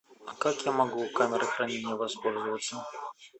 а как я могу камерой хранения воспользоваться